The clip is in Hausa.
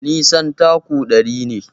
Nisan taku ɗari ne.